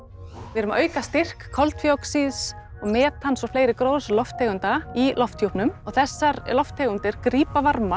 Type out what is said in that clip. við erum að auka styrk koltvíoxíðs metans og fleiri gróðurhúsalofttegunda í lofthjúpnum og þessar lofttegundir grípa varma